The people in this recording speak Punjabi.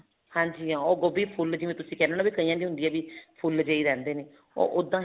ਹਾਂਜੀ ਉਹ ਗੋਭੀ ਫੁੱਲ ਜਿਵੇਂ ਤੁਸੀ ਕਹਿਣੇ ਹੋ ਕਈਆ ਦੀ ਹੁੰਦੀ ਹੈ ਵੀ ਫੁੱਲ ਜਿਹੇ ਰਹਿੰਦੇ ਨੇ ਉਹ ਉੱਦਾਂ